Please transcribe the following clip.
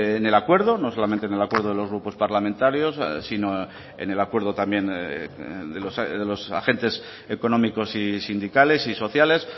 en el acuerdo no solamente en el acuerdo de los grupos parlamentarios sino en el acuerdo también de los agentes económicos y sindicales y sociales